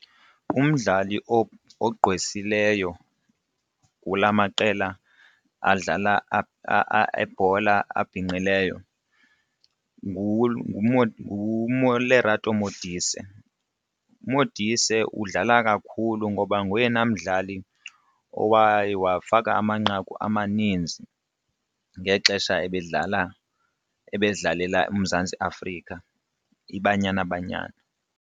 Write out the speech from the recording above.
Umdlali ogqwesileyo kula maqela adlala ebhola abhinqileyo Lerato Modise. UModise udlala kakhulu ngoba ngoyena mdlali owaye wafaka amanqaku amaninzi ngexesha bedlala ebedlalela uMzantsi Afrika iBanyana Banyana.